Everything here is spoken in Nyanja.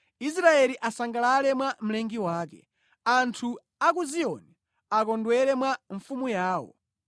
Israeli asangalale mwa mlengi wake; anthu a ku Ziyoni akondwere mwa Mfumu yawo.